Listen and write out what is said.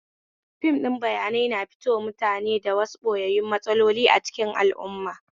Fim ɗin bayanai na fitowa mutane da wasu ɓoyayyun matsaloli a cikin al'auma